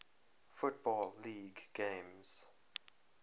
football league games